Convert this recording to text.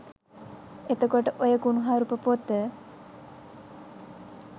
එතකොට ඔය කුනුහරුප පොත